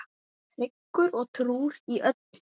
Tryggur og trúr í öllu.